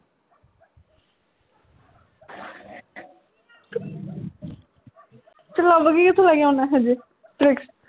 ਤੂੰ ਲੱਭ ਕੇ ਕਿਥੋਂ ਲੈ ਕੇ ਆਉਣਾ ਐਹੋ ਜਿਹੇ fix